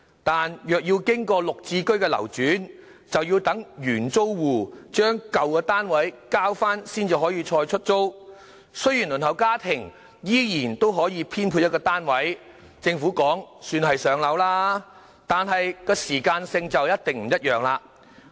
但若要經過"綠置居"的流轉，便要等原租戶將舊單位交回再出租，雖然輪候家庭依然可以獲編配一個單位，政府說這也算是上到樓，但時間就一定不一樣。